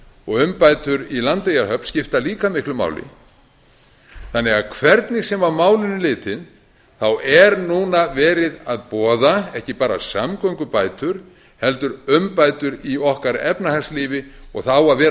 og umbætur í landeyjahöfn skipta líka miklu máli þannig að hvernig sem á málin er litið þá er núna verið að boða ekki bara samgöngubætur heldur umbætur í okkar efnahagslífi og það á að vera